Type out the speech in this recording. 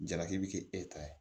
Jaraki bi kɛ e ta ye